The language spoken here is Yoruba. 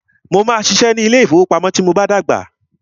Mó máà ṣiṣẹ́ ní ilé ìfọwọ́pamo tí mo bá tí dàgbà.